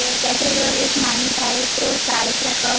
त्याच्याजवळ एक माणूस आहे तो चायचा कप --